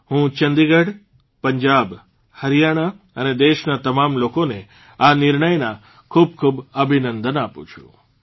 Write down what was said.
હું ચંદીગઢ પંજાબ હરીયાણા અને દેશના તમામ લોકોને આ નિર્ણયના ખૂબખૂબ અભિનંદન આપું છું